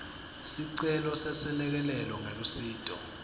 sicelo seselekelelo ngelusito